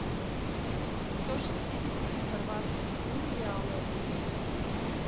сто шестидесяти хорватских кун в реалы обменять